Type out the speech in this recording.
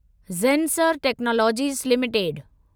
Zensar technologies limited